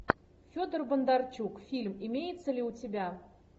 федор бондарчук фильм имеется ли у тебя